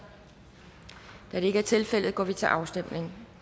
da det ikke er tilfældet går vi til afstemning